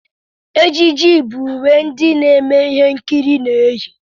Ejiji bụ uwe ndị na-eme ihe nkiri na-eyi.